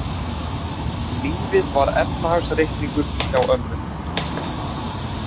Lífið var efnahagsreikningur hjá ömmu.